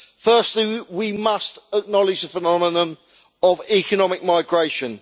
Firstly, we must acknowledge the phenomenon of economic migration.